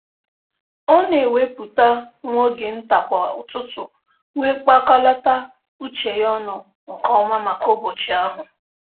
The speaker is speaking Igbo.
Ọ na-ewepụta nwa oge nta kwa ụtụtụ wee kpakọlata uche ya ọnụ nke ọma maka ụbọchị ahụ